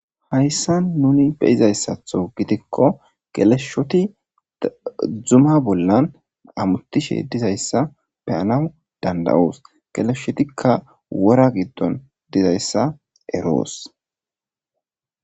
Hayssan nuni beyizayssatho gidikko geleshshoti dzuma bollan amutishe dizayssa beyana dandayoos geleshshotikka wora giddon dizayssa eroos.